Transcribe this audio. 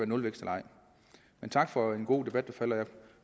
nulvækst eller ej men tak for en god debat